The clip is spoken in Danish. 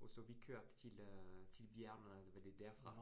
og så vi kørte til øh til bjergene derfra